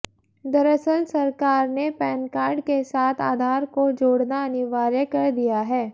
दरअसल सरकार ने पैन कार्ड के साथ आधार को जोड़ना अनिवार्य कर दिया है